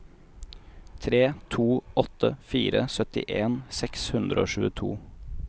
tre to åtte fire syttien seks hundre og tjueto